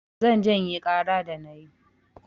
Zan janye ƙara da na yi.